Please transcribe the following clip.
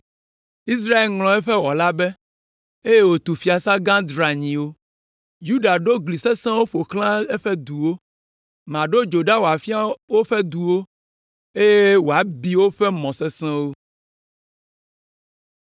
Israel ŋlɔ eƒe wɔla be, eye wòtu fiasã gã dranyiwo. Yuda ɖo gli sesẽwo ƒo xlã eƒe duwo. Maɖo dzo ɖa wòafia woƒe duwo, eye wòabi woƒe mɔ sesẽwo.”